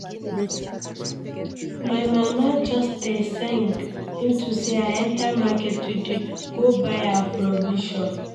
My mama just dey sing into say I enter market today go buy her provision